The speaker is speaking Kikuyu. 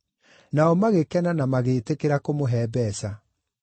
Nao magĩkena na magĩtĩkĩra kũmũhe mbeeca.